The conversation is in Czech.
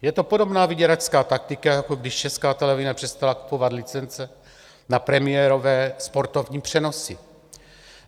Je to podobná vyděračská taktika, jako když Česká televize přestala kupovat licence na premiérové sportovní přenosy.